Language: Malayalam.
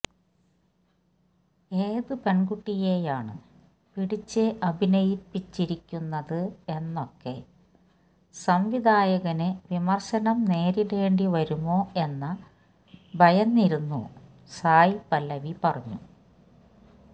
ഏത് പെണ്കുട്ടിയെയാണ് പിടിച്ച് അഭിനയിപ്പിച്ചിരിക്കുന്നത് എന്നൊക്കെ സംവിധായകന് വിമര്ശനം നേരിടേണ്ടി വരുമോ എന്ന ഭയന്നിരുന്നു സായ് പല്ലവി പറഞ്ഞു